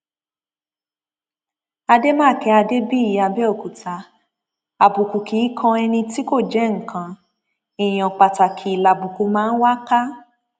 àdèmàkè adébíyì àbẹòkúta àbùkù kì í kan ẹni tí kò jẹ nǹkan èèyàn pàtàkì lábùkù máa ń wá ká